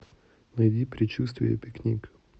найди предчувствие пикник